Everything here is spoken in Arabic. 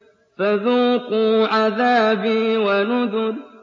فَذُوقُوا عَذَابِي وَنُذُرِ